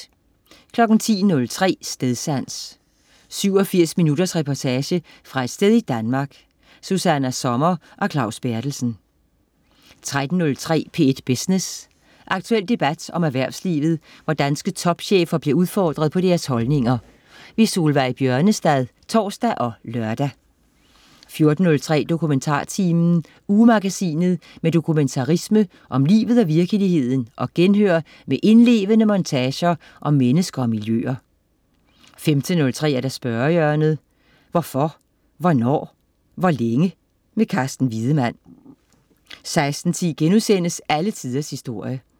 10.03 Stedsans. 87 minutters reportage fra et sted i Danmark. Susanna Sommer og Claus Berthelsen 13.03 P1 Business. Aktuel debat om erhvervslivet, hvor danske topchefer bliver udfordret på deres holdninger. Solveig Bjørnestad (tors og lør) 14.03 DokumentarTimen. Ugemagasinet med dokumentarisme om livet og virkeligheden og genhør med indlevende montager om mennesker og miljøer 15.03 Spørgehjørnet. Hvorfor, hvornår, hvor længe? Carsten Wiedemann 16.10 Alle tiders historie*